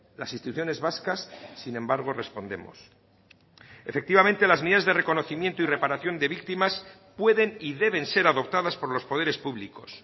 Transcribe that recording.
las instituciones vascas sin embargo respondemos efectivamente las medidas de reconocimiento y reparación de víctimas pueden y deben ser adoptadas por los poderes públicos